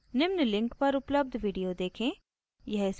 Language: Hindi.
निम्न link पर उपलब्ध video देखें